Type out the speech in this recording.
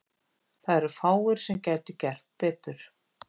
Það eru fáir sem gætu gert betur.